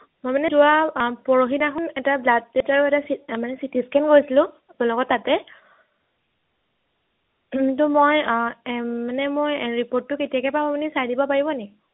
মই মানে যোৱা আহ পৰহি দিনাখন এটা blood test আৰু এটা মানে CT scan কৰিছিলো আপোনালোকৰ তাতে কিন্তু মই আহ এৰ মানে মই report টো কেতিয়াকে পাম আপুনি চাই দিব পাৰিব নি